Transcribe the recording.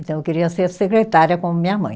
Então, eu queria ser secretária como minha mãe.